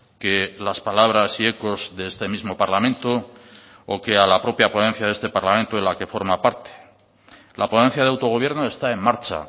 que las palabras y ecos de este mismo parlamento o que a la propia ponencia de este parlamento de la que forma parte la ponencia de autogobierno está en marcha